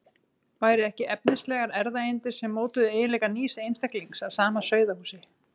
Væru ekki efnislegar erfðaeindir sem mótuðu eiginleika nýs einstaklings af sama sauðahúsi?